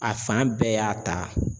A fan bɛɛ y'a ta